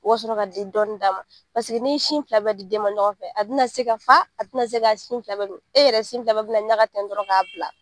U ka sɔrɔ ka dɔnin d'a ma paseke n'i ye sin fila bɛɛ di den ma ɲɔgɔn fɛ a tɛna se ka fa a tɛna se ka sin fila bɛɛ min e yɛrɛ sin fila bɛɛ bɛ ɲaga ten dɔrɔn k'a bila.